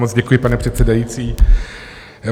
Moc děkuji, pane předsedající.